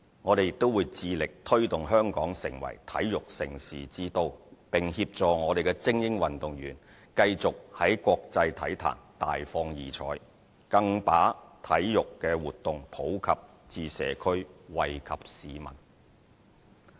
我們亦會致力推動香港成為體育盛事之都，並協助我們的精英運動員繼續在國際體壇大放異采，更把體育活動普及至社區，惠及市民。